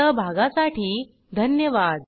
सहभागासाठी धन्यवाद